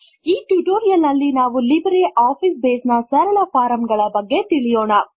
ಈ ಟ್ಯುಟೋರಿಯಲ್ ನಲ್ಲಿ ನಾವು ಲಿಬ್ರೆ ಆಫೀಸ್ ಬೇಸ್ ನ ಸರಳ ಫಾರ್ಮ್ ಗಳ ಬಗ್ಗೆ ತಿಳಿಯೋಣ